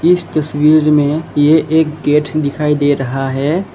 इस तस्वीर में ये एक गेठ दिखाई दे रहा है।